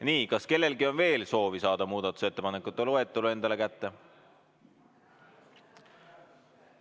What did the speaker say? Nii, kas kellelgi on veel soovi saada muudatusettepanekute loetelu enda kätte?